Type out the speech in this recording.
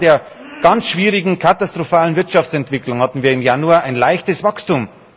Nach Jahren der ganz schwierigen, katastrophalen Wirtschaftsentwicklung hatten wir im Januar ein leichtes Wachstum.